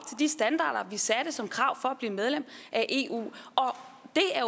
de standarder vi satte som krav for at blive medlem af eu